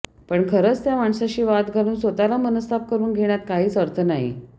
पण खरंच त्या माणसाशी वाद घालुन स्वतःला मनस्ताप करुन घेण्यात काहिच अर्थ नाही